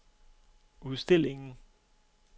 udstillingen